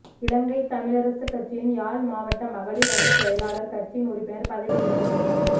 இலங்கைத் தமிழரசுக் கட்சியின் யாழ் மாவட்ட மகளிர் அணிச் செயலாளர் கட்சியின் உறுப்பினர் பதவியில் இருந்து நீக்கம்